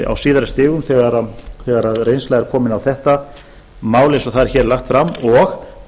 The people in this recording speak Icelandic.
á síðari stigum þegar reynsla er komin á þetta mál eins og það er lagt fram og